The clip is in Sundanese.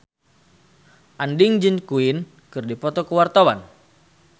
Andien jeung Queen keur dipoto ku wartawan